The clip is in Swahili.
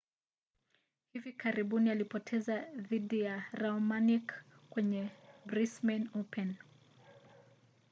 hivi karibuni alipoteza dhidi ya raonic kwenye brisbane open